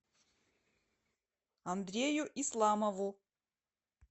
андрею исламову